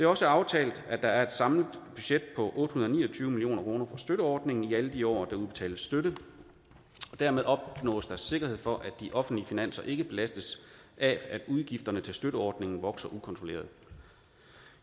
også aftalt at der er et samlet budget på otte hundrede og tyve million kroner for støtteordningen i alle de år der udbetales støtte og dermed opnås der sikkerhed for at de offentlige finanser ikke belastes af at udgifterne til støtteordningen vokser ukontrolleret